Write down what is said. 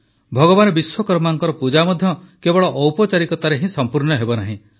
ଭଗବାନ ବିଶ୍ୱକର୍ମାଙ୍କ ପୂଜା ମଧ୍ୟ କେବଳ ଔପଚାରିକତାରେ ହିଁ ସଂପୂର୍ଣ୍ଣ ହେବନାହିଁ